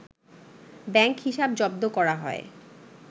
bank হিসাব জব্দ করা হয়